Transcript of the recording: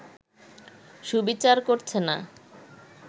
সুবিচার করছে না